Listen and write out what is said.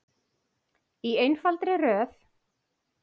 Í einfaldri röð.